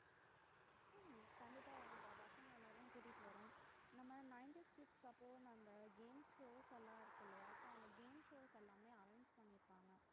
உம் கண்டிப்பா வரோம்பா பசங்க எல்லாரையும் கூட்டிட்டு வரோம் நம்ம ninetys kids அந்த games shows ல இருக்கு இல்லையா games shows எல்லாமே arrange பண்ணிருக்கறாங்க